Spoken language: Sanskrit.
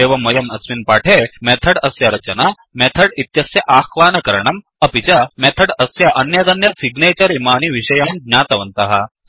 एवं वयं अस्मिन् पाठे मेथड् अस्य रचना मेथड् इत्यस्य अह्वानकरणम् अपि च मेथड् अस्य अन्यदन्यत् सिग्नेचर् इमानि विषयान् ज्ञातवनतः